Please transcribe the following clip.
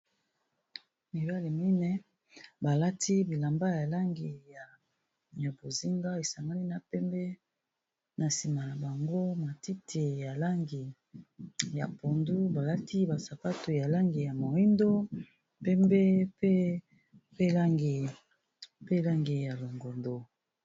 Mibale mine, balati bilamba ya langi ya bozinga esanganî na pembe. Na nsima na bango, matiti ya langi ya pondu. Balati basapato ya langi ya moindo, pembe pe langi ya longondo.